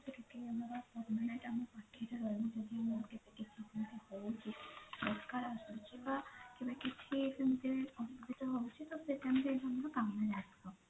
ଆମର permanent ଆମ ପାଖରେ ରହିବ କିଛି ହୋଉଛି କେବେ କିଛି ସେମିତି ତ ସେଇ time ରେ ଆମର କାମରେ ଆସିବ